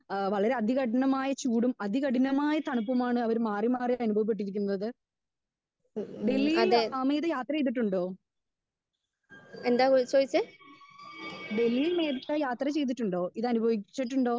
Speaker 2 ഏഹ് വളരെ അധി കഠിനമായ ചൂടും അധി കഠിനമായ തണുപ്പുമാണ് അവര് മാറി മാറി അനുഭവപ്പെട്ടു കൊണ്ടിരിക്കുന്നത്. ഡൽഹി യിൽ ഏഹ് മേഘ യാത്ര ചെയ്തിട്ടുണ്ടോ? ഡൽഹിയിൽ മേഘ യാത്ര ചെയ്തിട്ടുണ്ടോ? ഇതനുഭവിച്ചിട്ടുണ്ടോ?